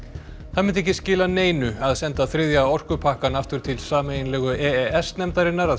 það myndi ekki skila neinu að senda þriðja orkupakkann aftur til sameiginlegu e e s nefndarinnar að